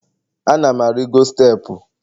Ana m arigo steepụ